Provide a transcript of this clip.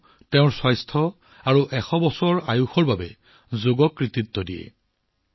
তেওঁৰ স্বাস্থ্য আৰু এই ১০০ বছৰীয়া বয়সৰ কৃতিত্ব কেৱল যোগাসনকে দিয়ে